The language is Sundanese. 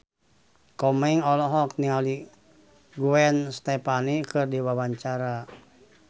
Komeng olohok ningali Gwen Stefani keur diwawancara